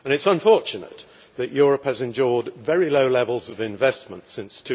It is unfortunate that Europe has endured very low levels of investment since